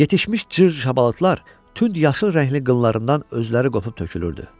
Yetişmiş cır şabalıtlar tünd yaşıl rəngli qınlarından özləri qopub tökülürdü.